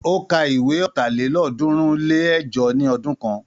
Ó ka ìwé ọ̀tàlélọ́ọ̀ọ́dúnrún-lé-ẹ̀jọ ní ọdún kan.